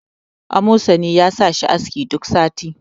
amosani ya sa shi aski duk sati